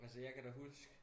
Altså jeg kan da huske